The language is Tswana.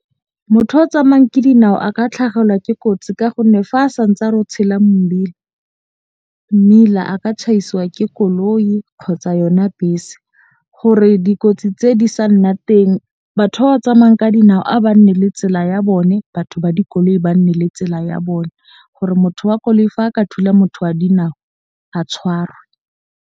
Motho yo o tsamayang ka dinao a ka tlhagelwa ke kotsi. Ka gonne fa a santse a re o tshela mmila a ka tjhaiswa ke koloi kgotsa yona bese. Gore dikotsi tse di sa nna teng batho ba ba tsamayang ka dinao a ba nne le tsela ya bone. Batho ba dikoloi ba nne le tsela ya bone, gore motho wa koloi fa a ka thula motho a dinao a tshwarwe.